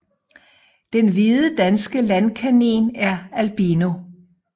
Den hvide danske landkanin er albino